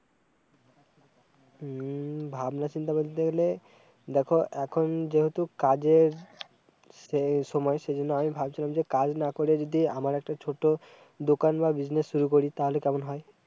হম ভাবনা চিন্তা বলতে গেলে, দেখো এখন যেহেতু কাজের, সেই, সময়, সেইজন্য, আমি ভাবছিলাম যে কাজ না করে যদি, আমার একটা ছোট দোকান বা বিজনেস শুরু করি তালে কেমন হয়